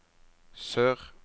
sør